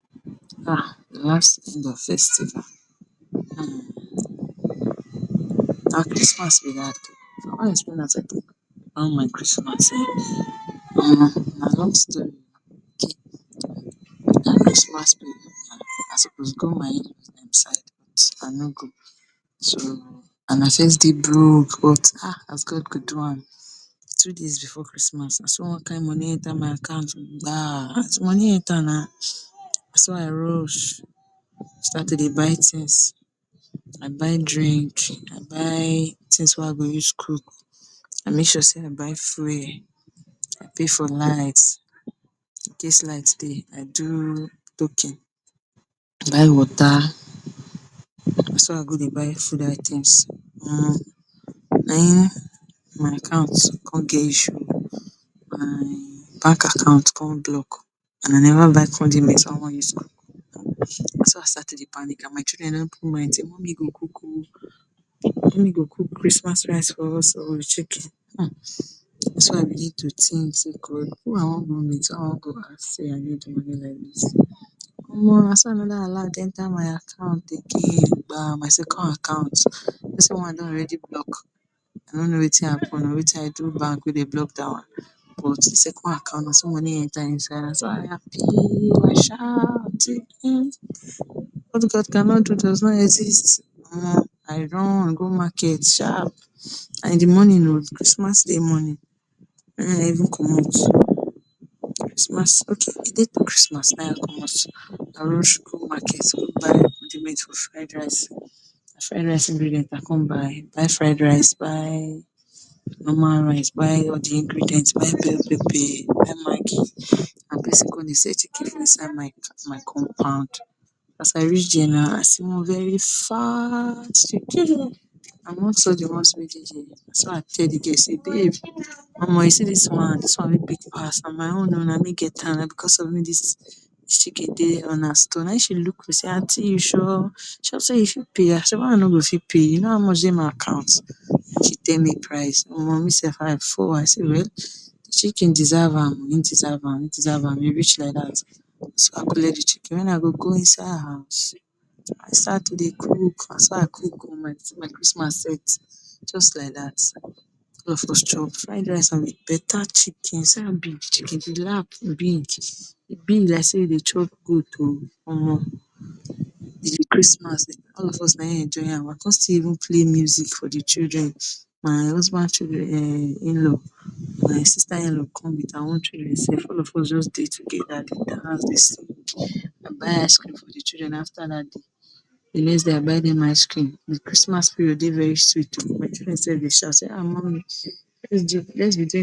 um last festival um, na Christmas be dat oh, I wan explain how I take, how my Christmas end, Omo na long story Christmas period I suppose go my in-law side I no go so, and I first dey broke but um as God go do am two days before Christmas naso one kind money enter my account oh. As de money enter na, naso I rush start to dey buy things, I buy drink, I buy things wey I go use cook, I make sure sey I buy fuel, I pay for light, incase light dey I do token, I buy water, naso I go dey buy food items, Omo na hin my account con get issue oh, my bank account con block and I never buy condiments wey I wan use, naso I start to dey panic and my children don put mind sey mommy go cook oh, mummy go cook chrismas rice for us oh with chicken, naso I begin to think sey who I wan go meet who I wan go ask sey I no get money like dis, naso another alert enter my account again my second account u know sey one don already block, I no no Wetin happen, Wetin I do bank wey dem block dat one, but d second account naso money enter inside I happy I shout sey um What God cannot do does not exist um I run go market sharp, na in de morning oh, Christmas day morning, I even commot christmas okay a day to chrismas na hin I commot, I rush go market go buy for fried rice, na fried rice ingredients I con buy buy fried rice, buy normal rice, buy all de ingredients buy bell pepper buy maggi, and persin con dey sell chicken for inside my compound, as I reach there now I see one very fine chicken, among de ones wey dey there naso I tell de girl sey babe um u see dis one, dis one wey big pass na my own oh na me get am, na because of me dis chicken dey una store, na hin she look me she sey aunty u sure, u sure sey u fit pay, I dey why I no go fit pay, u no how much dey my account, wen she tell me price um, me sef I fall, I sey well de chicken deserve am, e deserve am, u reach like dat, naso I collect de chicken wen I go go inside house, I start to dey cook, naso I cook oh, my Christmas set jus like dat, all of us chop fried rice and better chicken, see one big chicken, de lap big, e big like dey e dey chop goat oh, um de chrismas all of us na hin enjoy am oh, I con still even play music for de children, my husband um inlaw, my sister inlaw come with her own children sef, all of us just dey together, dey dance dey sing, I byt ice cream for de children after dat day, de next day I buy dem ice cream. De Christmas period dey very sweet oh, my children sef dey shout sey um mummy let’s be doing.